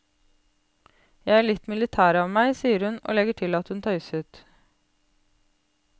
Jeg er litt militær av meg, sier hun, og legger til at hun tøyset.